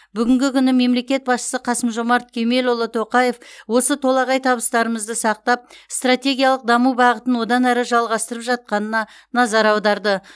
бүгінгі күні мемлекет басшысы қасым жомарт кемелұлы тоқаев осы толағай табыстарымызды сақтап стратегиялық даму бағытын одан әрі жалғастырып жатқанына назар аударды